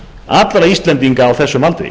allra íslendinga á þessum aldri